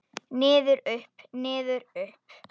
Niður, upp, niður upp.